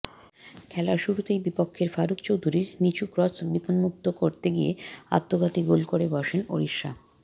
খেলার শুরুতেই বিপক্ষের ফারুক চৌধুরীর নিচু ক্রস বিপন্মুক্ত করতে গিয়ে আত্মঘাতী গোল করে বসেন ওড়িশা